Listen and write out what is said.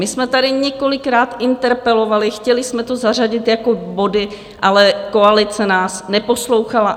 My jsme tady několikrát interpelovali, chtěli jsme to zařadit jako body, ale koalice nás neposlouchala.